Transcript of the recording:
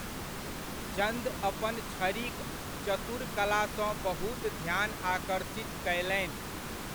चंद अपन छड़ीक चतुर कलासँ बहुत ध्यान आकर्षित कयलनि।